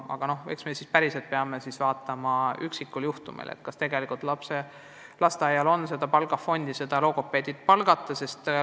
Aga me peame vaatama, kas igal lasteaial on vaja palgafondi, et logopeed tööle võtta.